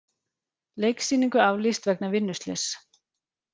Leiksýningu aflýst vegna vinnuslyss